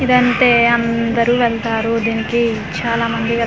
ఇదంటే అందరూ వెల్లతరు దీనికి చాలా మంది వేల--